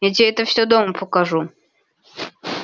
я те это всё дома покажу